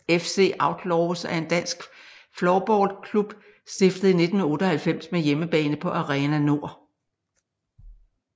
FC Outlaws er en dansk floorballklub stiftet i 1998 med hjemmebane på Arena Nord